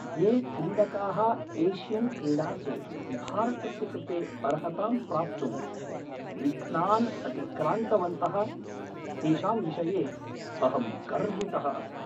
ये क्रीडकाः एशियन्क्रीडासु भारतस्य कृते अर्हतां प्राप्तुं विघ्नान् अतिक्रान्तवन्तः तेषां विषये अहं गर्वितः अस्मि।